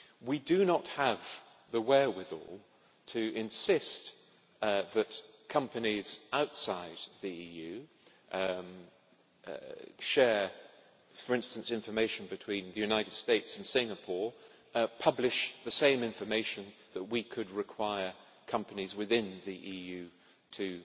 We do not have the wherewithal to insist that companies outside the EU share, for instance, information between the United States and Singapore and publish the same information that we could require companies within the EU to